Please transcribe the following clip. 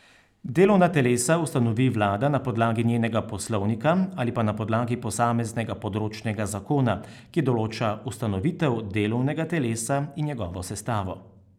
Delovna telesa ustanovi vlada na podlagi njenega poslovnika ali pa na podlagi posameznega področnega zakona, ki določa ustanovitev delovnega telesa in njegovo sestavo.